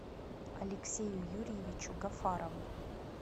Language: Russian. алексею юрьевичу гафарову